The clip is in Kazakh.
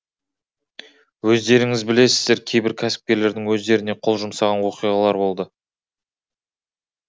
өздеріңіз білесіздер кейбір кәсіпкерлердің өздеріне қол жұмсаған оқиғалар болды